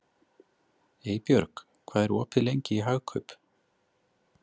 Eybjörg, hvað er opið lengi í Hagkaup?